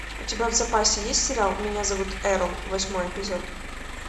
у тебя в запасе есть сериал меня зовут эрл восьмой эпизод